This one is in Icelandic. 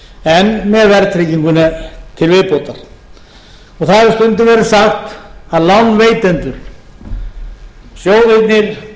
en með verðtrygginguna til viðbótar það hefur stundum verið sagt að lánveitendur sjóðirnir